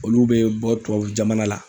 Olu be bɔ tubabu jamana la.